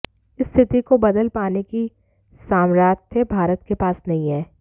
इस स्थिति को बदल पाने की सामथ्र्य भारत के पास नहीं है